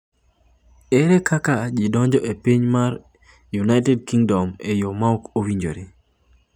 Ere kaka ji donjo e piny UK e yo ma ok owinjore?